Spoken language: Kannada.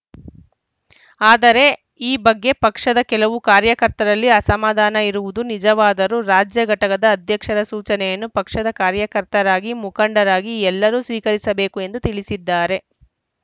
ಆದರೆ ಈ ಬಗ್ಗೆ ಪಕ್ಷದ ಕೆಲವು ಕಾರ್ಯಕರ್ತರಲ್ಲಿ ಅಸಮಧಾನ ಇರುವುದು ನಿಜವಾದರೂ ರಾಜ್ಯ ಘಟಕದ ಅಧ್ಯಕ್ಷರ ಸೂಚನೆಯನ್ನು ಪಕ್ಷದ ಕಾರ್ಯಕರ್ತರಾಗಿ ಮುಖಂಡರಾಗಿ ಎಲ್ಲರೂ ಸ್ವೀಕರಿಸಬೇಕು ಎಂದು ತಿಳಿಸಿದ್ದಾರೆ